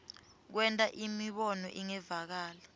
kwenta imibono ingevakali